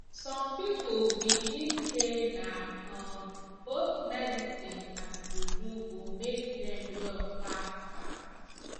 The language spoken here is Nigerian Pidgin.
some people believe say na um both medicine and juju go make dem well fast fast